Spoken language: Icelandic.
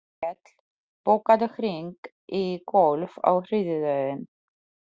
Grímkell, bókaðu hring í golf á þriðjudaginn.